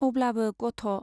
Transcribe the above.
अब्लाबो गथ'।